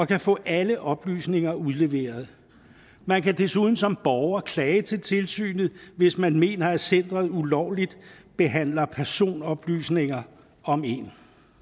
kan få alle oplysninger udleveret man kan desuden som borger klage til tilsynet hvis man mener at centeret ulovligt behandler personoplysninger om en